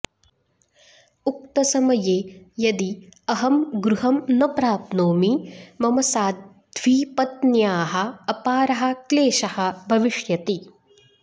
उक्तसमये यदि अहं गृहं न प्राप्नोमि मम साध्वीपत्न्याः अपारः क्लेशः भविष्यति